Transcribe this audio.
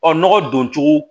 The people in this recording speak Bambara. Ɔ nɔgɔ don cogo